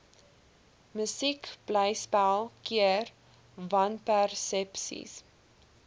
musiekblyspel keer wanpersepsies